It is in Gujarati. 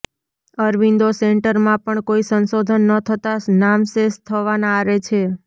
અરવિંદો સેન્ટરમાં પણ કોઇ સંશોધન ન થતાં નામશેષ થવાના આરે છે